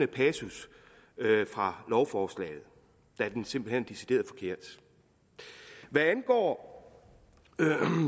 passus fra lovforslaget da den simpelt hen er decideret forkert hvad angår